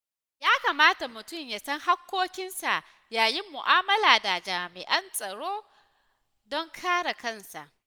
Ya kamata mutum ya san haƙƙoƙinsa yayin mu’amala da jami’an tsaro don kare kansa.